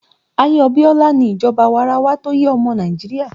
Ayé Abiola ni ìjọba awarawa tó yé ọmọ Nàìjíríà